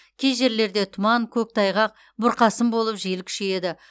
кей жерлерде тұман көктайғақ бұрқасын болып жел күшейеді